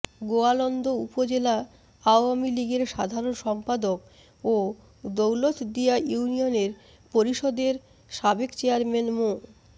গোয়ালন্দ উপজেলা আওয়ামী লীগের সাধারণ সম্পাদক ও দৌলতদিয়া ইউনিয়ন পরিষদের সাবেক চেয়ারম্যান মো